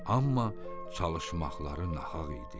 Amma çalışmaqları nahaq idi.